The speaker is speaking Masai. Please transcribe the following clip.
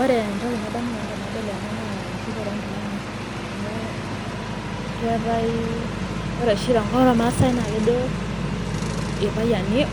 Ore entoki nadamu nanu tenadol ena naa ekitukure oo nkilani amu keetae, ore oshi tenkop oormasai naa kejo